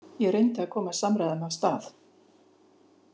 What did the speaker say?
Ég reyndi að koma samræðum af stað.